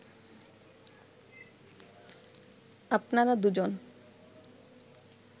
আপনারা দুজন